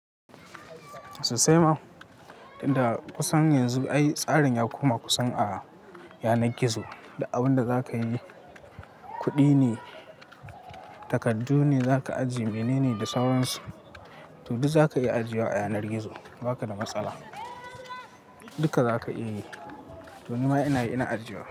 Sosai ma, tunda kusan yanzu ai tsarin ya koma kusan a yanar gizo da abin da za ka yi kuɗi ne, takardu ne za ka ajiye mene ne da sauransu. To duk za ka iya ajiye wa a yanar gizo ba ka da matsala. Duka za ka iya yi to ni ma ina ina ajiye wa.